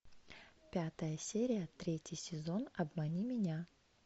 пятая серия третий сезон обмани меня